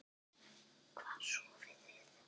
Hvar sofiði?